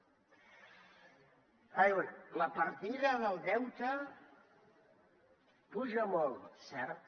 diuen la partida del deute puja molt cert